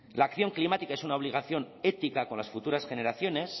la acción climática es una obligación ética con las futuras generaciones